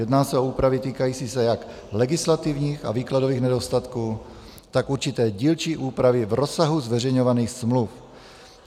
Jedná se o úpravy týkající se jak legislativních a výkladových nedostatků, tak určité dílčí úpravy v rozsahu zveřejňovaných smluv.